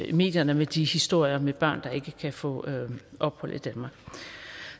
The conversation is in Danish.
i medierne med de historier med børn der ikke kan få ophold i danmark